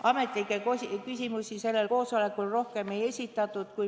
Ametnikele küsimusi sellel koosolekul rohkem ei esitatud.